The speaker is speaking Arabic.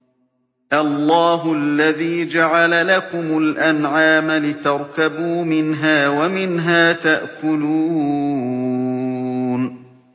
اللَّهُ الَّذِي جَعَلَ لَكُمُ الْأَنْعَامَ لِتَرْكَبُوا مِنْهَا وَمِنْهَا تَأْكُلُونَ